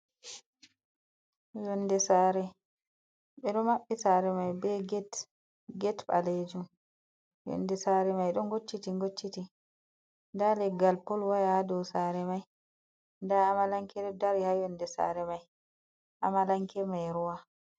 Yonde sare ɓe ɗo maɓɓi sare mai be get ɓalejum yonde sare mai ɗon gocciti gocciti nda leggal pol waya ha dow sare mai nda Amalanke ɗo dari ha yonde sare mai Amalanke mai ruwa.